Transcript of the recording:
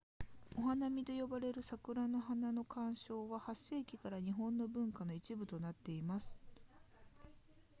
お花見と呼ばれる桜の花の鑑賞は8世紀から日本の文化の一部となっています